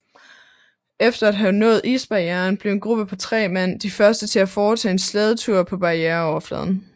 Efter at have nået isbarrieren blev en gruppe på tre mand de første til at foretage en slædetur på barriereoverfladen